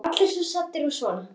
Allir svo saddir og svona.